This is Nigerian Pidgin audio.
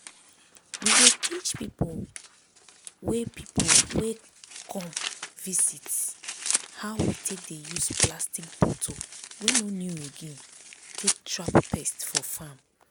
we dey teach people wey people wey come visit how we take dey use plastic bottle wey no new again take trap pest for farm.